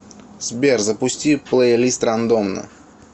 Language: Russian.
сбер запусти плейлист рандомно